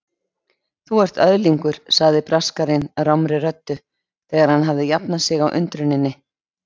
Þú ert öðlingur sagði Braskarinn rámri röddu þegar hann hafði jafnað sig á undruninni.